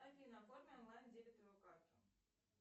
афина оформи онлайн дебетовую карту